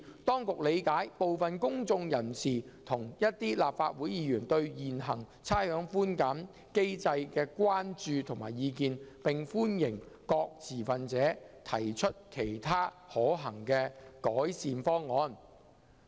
當局理解部分公眾人士及一些立法會議員對現行差餉寬減機制的關注及意見，並歡迎各持份者提出其他可行的改善方案。